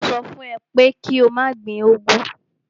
Mo sọ fún ẹ pé kí o má gbin úgwú.